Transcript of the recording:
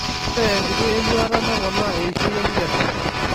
Ore enkiti enyuata neponaa eishioi enkikesare.